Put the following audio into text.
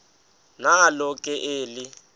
nalo ke eli